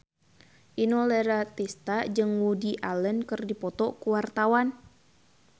Inul Daratista jeung Woody Allen keur dipoto ku wartawan